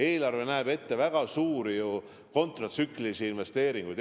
Eelarve näeb ette väga suuri kontratsüklilisi investeeringuid.